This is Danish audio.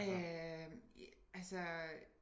Øh altså